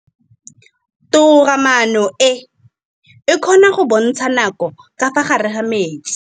Toga-maanô e, e kgona go bontsha nakô ka fa gare ga metsi.